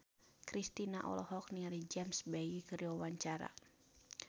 Kristina olohok ningali James Bay keur diwawancara